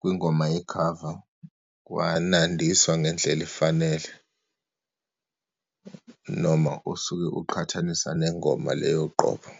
kwingoma yekhava, kwanandiswa ngendlela efanele noma usuke uqhathanisa nengoma le yoqobo.